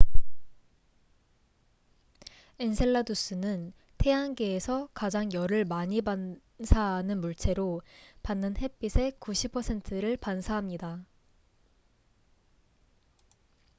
엔셀라두스는 태양계에서 가장 열을 많이 반사하는 물체로 받는 햇빛의 90 퍼센트를 반사합니다